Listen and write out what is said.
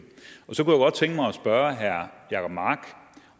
spørge herre jacob mark